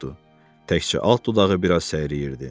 Təkcə alt dodağı bir az səyriyirdi.